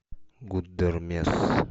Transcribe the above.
гудермес